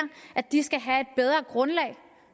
at de skal have et bedre grundlag